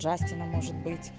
джастина может быть